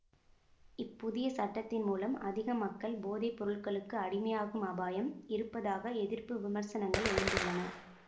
இப்புதிய சட்டத்தின் மூலம் அதிக மக்கள் போதைப்பொருளுக்கு அடிமையாகும் அபாயம் இருப்பதாக எதிர்ப்பு விமர்சனங்கள் எழுந்துள்ளன